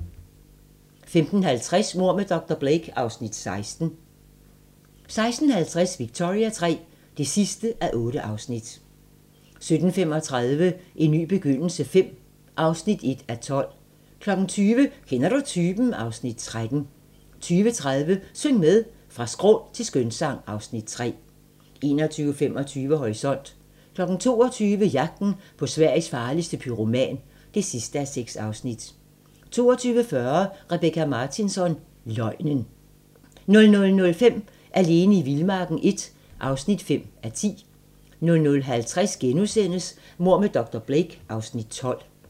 15:50: Mord med dr. Blake (Afs. 16) 16:50: Victoria III (8:8) 17:35: En ny begyndelse V (1:12) 20:00: Kender du typen? (Afs. 13) 20:30: Syng med! Fra skrål til skønsang (Afs. 3) 21:25: Horisont 22:00: Jagten på Sveriges farligste pyroman (6:6) 22:40: Rebecka Martinsson: Løgnen 00:05: Alene i vildmarken I (5:10) 00:50: Mord med dr. Blake (Afs. 12)*